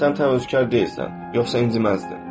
Sən təvəkkülkar deyilsən, yoxsa inciməzdin.